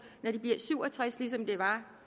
når de bliver syv og tres år ligesom det var